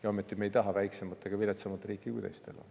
Ja ometi ei taha me väiksemat ega viletsamat riiki kui teistel.